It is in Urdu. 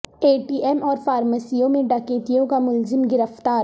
اے ٹی ایم اور فارمیسیوں میں ڈکیتیوں کا ملزم گرفتار